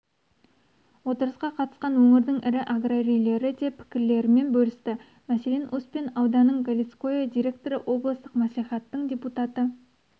отырысқа қатысқан өңірдің ірі аграрийлері де пікірлерімен бөлісті мәселен успен ауданының галицкое директоры облыстық мәслихаттың депутаты